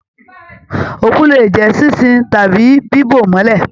Òkú lè jẹ ṣinṣin tàbí bibo mọlẹ.